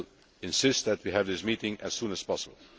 We will insist that we have this meeting as soon as possible.